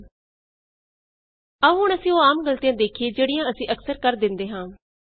sum is less than 10 ਆਉ ਹੁਣ ਅਸੀਂ ਉਹ ਆਮ ਗਲਤੀਆਂ ਵੇਖੀਏ ਜਿਹੜੀਆਂ ਅਸੀਂ ਅਕਸਰ ਕਰ ਦਿੰਦੇ ਹਾਂ